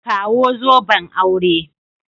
Kawo zoben aure.